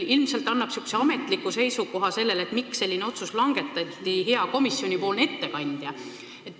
Ilmselt esitab ametliku seisukoha, miks selline otsus langetati, hea komisjoni ettekandja.